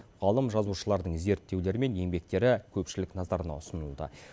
ғалым жазушылардың зерттеулері мен еңбектері көпшілік назарына ұсынылды